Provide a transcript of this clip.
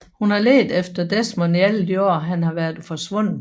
Hun har ledt efter Desmond i alle de år han har været forsvundet